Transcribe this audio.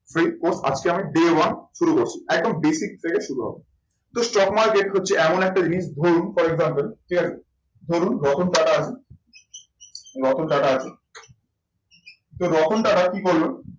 সেই course আজকে আমি day one শুরু করছি। একদম basic থেকে শুরু হবে। তো stock market হচ্ছে এমন একটা জিনিস ধরুন for example ঠিক আছে ধরুন রতন টাটা আছে, রতন টাটা আছে, সেই রতন টাটা কি করলো